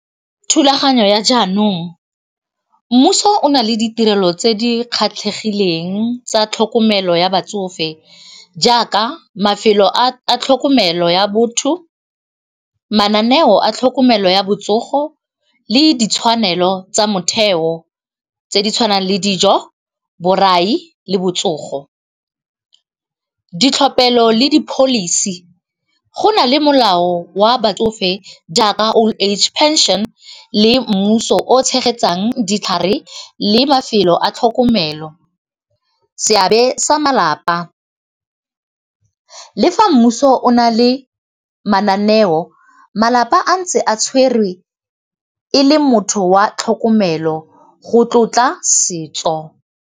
Thulaganyo ya jaanong mmuso o na le ditirelo tse di kgatlhegileng tsa tlhokomelo ya batsofe jaaka mafelo a tlhokomelo ya botho mananeo a tlhokomelo ya botsogo le ditshwanelo tsa motheo tse di tshwanang le dijo, borai le botsogo. Ditlhophelo le di-policy go nale molao wa batsofe jaaka old age pension le mmuso o tshegetsang ditlhare le mafelo a tlhokomelo seabe sa malapa, le fa mmuso o na le mananeo malapa a ntse a tshwerwe e le motho wa tlhokomelo go tlotla setso.